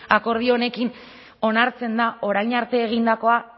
akordio honekin onartzen da orain arte egindakoa